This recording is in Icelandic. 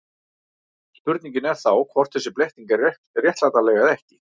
Spurningin er þá hvort þessi blekking er réttlætanleg eða ekki.